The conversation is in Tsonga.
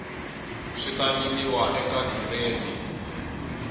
swi ta nyikiwa eka giredi